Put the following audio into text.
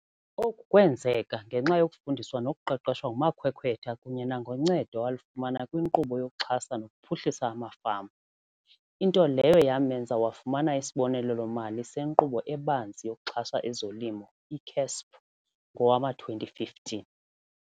Oku kwenzeka ngenxa yokufundiswa nokuqeqeshwa ngumakhwekhwetha kunye nangoncedo awalifumana kwiNkqubo yokuXhasa nokuPhuhlisa amaFama, into leyo yamenza wafumana isibonelelo-mali seNkqubo eBanzi yokuXhasa ezoLimo, i-CASP, ngowama-2015.